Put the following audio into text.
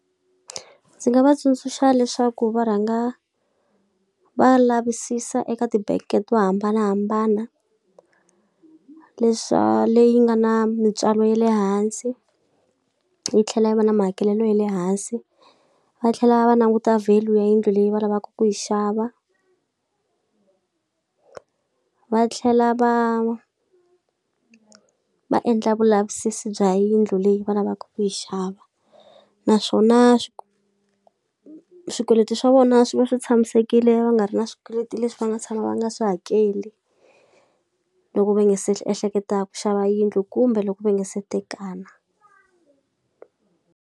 Ndzi nga va tsundzuxa leswaku va rhanga va lavisisa eka ti-bank-e to hambanahambana leyi nga na mintswalo ya le hansi, yi tlhela yi va na mahakelelo ya le hansi, va tlhela va languta value ya yindlu leyi va lavaka ku yi xava va tlhela va va endla vulavisisi bya yindlu leyi va lavaka ku yi xava. Naswona swikweleti swa vona swi va swi tshamisekile va nga ri na swikweleti leswi va nga tshama va nga swi hakeli, loko va nga se ehleketaka ku xava yindlu kumbe loko va nga se tekana.